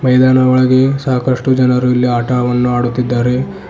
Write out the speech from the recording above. ಇದರ ಒಳಗೆ ಸಾಕಷ್ಟು ಜನರು ಇಲ್ಲಿ ಆಟವನ್ನು ಆಡುತ್ತಿದ್ದಾರೆ.